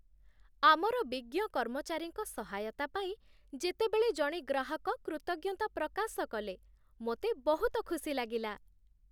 ଆମର ବିଜ୍ଞ କର୍ମଚାରୀଙ୍କ ସହାୟତା ପାଇଁ ଯେତେବେଳେ ଜଣେ ଗ୍ରାହକ କୃତଜ୍ଞତା ପ୍ରକାଶ କଲେ, ମୋତେ ବହୁତ ଖୁସି ଲାଗିଲା।